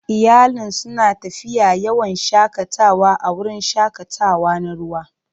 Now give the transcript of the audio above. Iyalin suna tafiya yawon shakatawa a wurin shakatawa na ruwa.